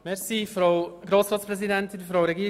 Wir kommen zu Artikel 40 Absatz 4.